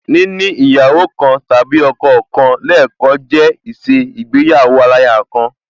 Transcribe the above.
Níní ìyàwó kan tàbí ọkọ kan lẹẹkan jẹ́ ìṣe igbéyàwó aláya kan